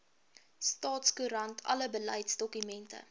staatskoerant alle beleidsdokumente